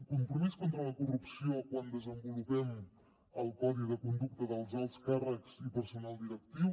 compromís contra la corrupció quan desenvolupem el codi de conducta dels alts càrrecs i personal directiu